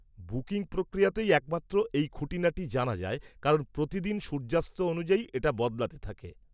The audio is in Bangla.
-বুকিং প্রক্রিয়াতেই একমাত্র এই খুঁটিনাটি জানা যায় কারণ প্রতিদিন সূর্যাস্ত অনুযায়ী এটা বদলাতে থাকে।